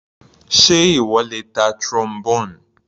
Sé ìwọ lè ta Trombone?